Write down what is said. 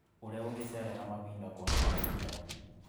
ũrĩa ũngĩcerera mahinda kwa mahinda.